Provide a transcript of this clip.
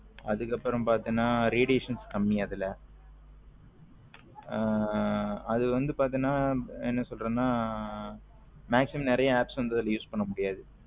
அதுக்கு அப்பரம் பாத்தின radiation கம்மி அதுல. அது வந்து பாத்தின என்ன சொல்லுறதுன maximum நறிய apps வந்து அதுல use பண்ண முடியாது